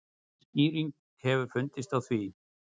Skýring hefur fundist á því.